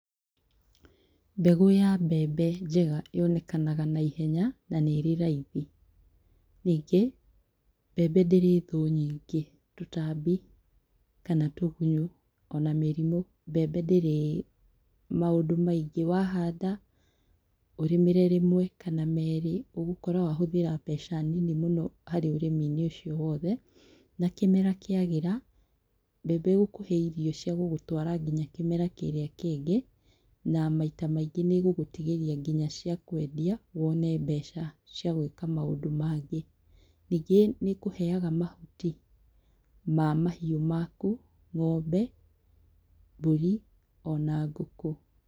Mbegũ ya mbembe njega yonekanaga naihenya na nĩĩrĩ raithi, ningĩ, mbembe ndĩrĩ thũ nyingĩ, tũtambi kana tũgunyũ ona mĩrimũ mbembe ndĩrĩ maũndũ maingĩ wahanda ũrĩmĩre rĩmwe kana merĩ ũgũkora wahũthĩra mbeca nini mũno harĩ ũrĩmi-inĩ ũcio wothe na kĩmera kĩagĩra mbembe ĩgĩkũhe irio ciagũgũtwara nginya kĩmera kĩrĩa kĩngĩ na maita maingĩ nĩĩgũgũtigĩria nginya cia kwendia wone mbeca ciagũika maũndũ mangĩ. Ningĩ nĩkũheaga mahuti ma mahiũ maku ngombe, mbũri ona ngũkũ.